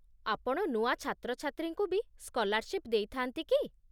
ଆପଣ ନୂଆ ଛାତ୍ରଛାତ୍ରୀଙ୍କୁ ବି ସ୍କଲାର୍ଶିପ୍ ଦେଇଥାନ୍ତି କି?